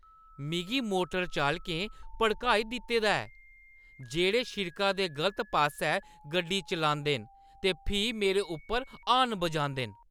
मिगी मोटर चालकें भड़काई दित्ते दा ऐ जेह्ड़े शिड़का दे गलत पासेै गड्डी चलांदे न ते फ्ही मेरे उप्पर हॉर्न बजांदे न।